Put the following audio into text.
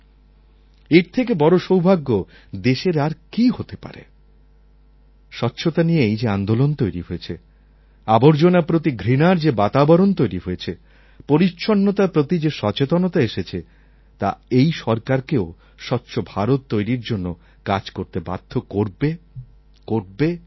এর থেকে বড় সৌভাগ্য দেশের আর কী হতে পারে স্বচ্ছতা নিয়ে এই যে আন্দোলন তৈরি হয়েছে আবর্জনার প্রতি ঘৃণার যে বাতাবরণ তৈরি হয়েছে পরিচ্ছন্নতার প্রতি যে সচেতনতা এসেছে তা এই সরকারকেও স্বচ্ছ ভারত তৈরির জন্য কাজ করতে বাধ্য করবে করবে করবে